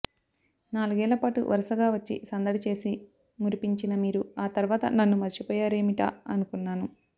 నాలుగేళ్లపాటు వరసగా వచ్చి సందడి చేసి మురిపించిన మీరు ఆ తర్వాత నన్ను మర్చిపోయారేమిటా అనుకున్నాను